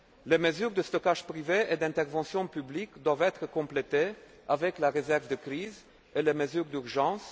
Les mesures de stockage privé et d'intervention publique doivent être complétées par la réserve de crise et les mesures d'urgence.